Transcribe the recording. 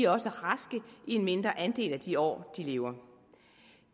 også raske i en mindre andel af de år de lever